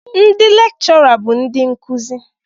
Ndị lechura bụ ndị nkuzi.